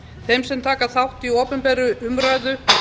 þeim sem taka þátt í opinberri umræðu